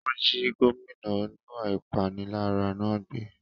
Wọ́n jí gómìnà oníwà ìpániláyà náà gbé